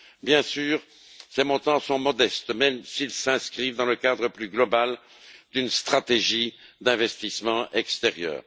Bien sûr, ces montants sont modestes, même s'ils s'inscrivent dans le cadre plus global d'une stratégie d'investissement extérieur.